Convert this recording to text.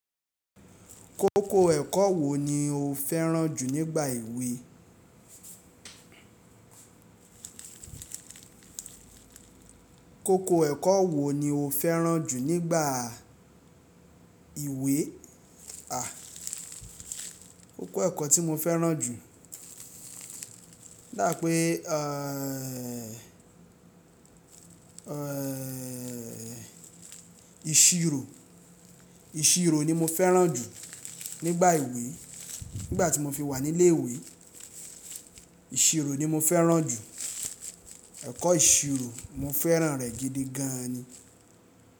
Kókó ẹ̀kọ́ wo ni o fẹ́ràn jù nígbà ìwẹ? Kókó ẹ̀kọ́ wo ni o fẹ́ràn jù nígbà ìwẹ, à, kókó ẹ̀kọ́ tí mo fẹ́ràn jù, dápe, eeh, eeh, ìṣirò, ìṣirò ni mo fẹ́ràn jù nígbà ìwẹ, nígbà tí mo fi wà nílé ìwẹ, ìṣirò ni mo fẹ́ràn jù. Ẹ̀kọ́ ìṣirò, mo fẹ́ràn rè gidi gan ni.